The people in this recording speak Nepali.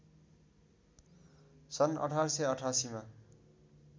सन् १८८८ मा